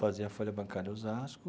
Fazia a Folha Bancária de Osasco.